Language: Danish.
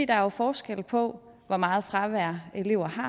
der er forskel på hvor meget fravær elever har